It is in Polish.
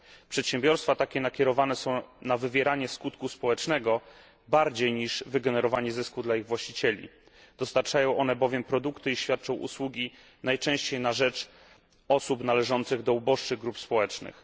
Przedsiębiorstwa takie nakierowane są na wywieranie skutku społecznego bardziej niż wygenerowanie zysku dla ich właścicieli. Dostarczają one bowiem produkty i świadczą usługi najczęściej na rzecz osób należących do uboższych grup społecznych.